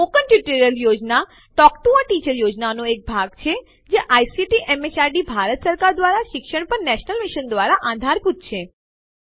મૌખિક ટ્યુટોરિયલ યોજના એ ટોક ટૂ અ ટીચર યોજનાનો એક ભાગ છે જે આઇસીટી એમએચઆરડી ભારત સરકાર દ્વારા શિક્ષણ પર નેશનલ મિશન દ્વારા આધારભૂત છે